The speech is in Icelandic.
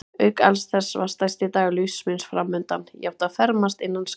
Auk alls þessa var stærsti dagur lífs míns framundan: ég átti að fermast innan skamms.